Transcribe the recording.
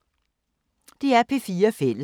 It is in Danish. DR P4 Fælles